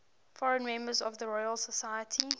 foreign members of the royal society